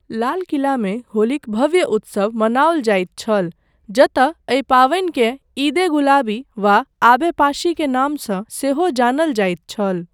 लाल किलामे होलीक भव्य उत्सव मनाओल जाइत छल, जतय एहि पावनिकेँ ईद ए गुलाबी वा आब ए पाशी के नामसँ सेहो जानल जाइत छल।